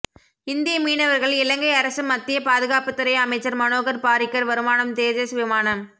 இந்திய மீனவர்கள் இலங்கை அரசு மத்திய பாதுகாப்புத்துறை அமைச்சர் மனோகர் பாரிக்கர் வருமானம் தேஜஸ் விமானம்